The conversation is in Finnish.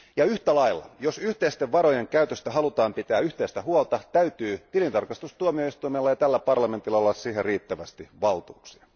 Yhtä lailla, jos yhteisten varojen käytöstä halutaan pitää yhteistä huolta, täytyy tilintarkastustuomioistuimella ja tällä parlamentilla olla siihen riittävästi valtuuksia.